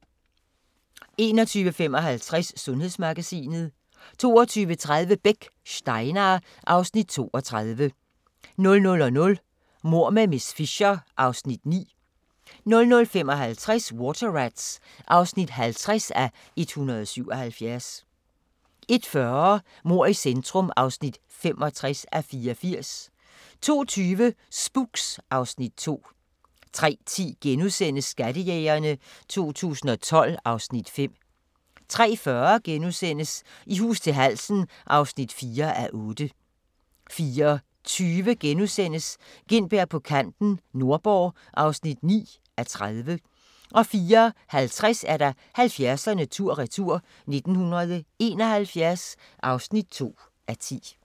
21:55: Sundhedsmagasinet 22:30: Beck: Steinar (Afs. 32) 00:00: Mord med miss Fisher (Afs. 9) 00:55: Water Rats (50:177) 01:40: Mord i centrum (65:84) 02:20: Spooks (Afs. 2) 03:10: Skattejægerne 2012 (Afs. 5)* 03:40: I hus til halsen (4:8)* 04:20: Gintberg på kanten – Nordborg (9:30)* 04:50: 70'erne tur-retur: 1971 (2:10)